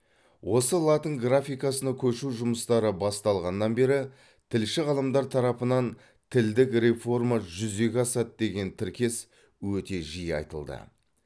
осы латын графикасына көшу жұмыстары басталғаннан бері тілші ғалымдар тарапынан тілдік реформа жүзеге асады деген тіркес өте жиі айтылды